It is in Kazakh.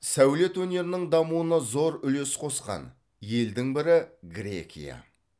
сәулет өнерінің дамуына зор үлес қосқан елдің бірі грекия